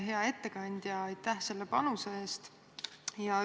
Hea ettekandja, aitäh selle panuse eest!